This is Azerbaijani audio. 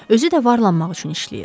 Özü də varlanmaq üçün işləyir.